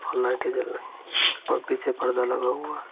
और लाईटें जल रहीं हैं और पीछे पर्दा लगा हुआ है |